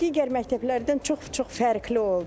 Digər məktəblərdən çox-çox fərqli oldu.